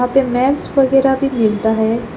पे मैप्स वगैरा भी मिलता है।